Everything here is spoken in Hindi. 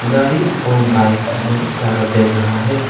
गाड़ी और बाइक बहुत सारा देख रहा है।